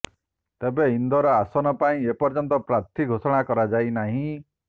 ତେବେ ଇନ୍ଦୋର ଆସନ ପାଇଁ ଏପର୍ଯ୍ୟନ୍ତ ପ୍ରାର୍ଥୀ ଘୋଷଣା କରାଯାଇନାହିଁ